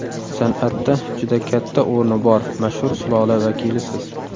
San’atda juda katta o‘rni bor mashhur sulola vakilisiz.